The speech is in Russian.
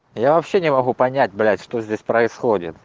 я вообще не могу понять блять что здесь происходит